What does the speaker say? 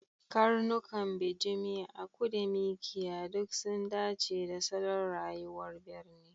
Karnukan bijimi, aku da Mikiya duk sun dace da salon rayuwar birni.